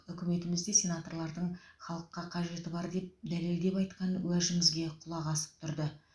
үкіметіміз де сенаторлардың халыққа қажеті бар деп дәлелдеп айтқан уәжімізге құлақ асып тұрды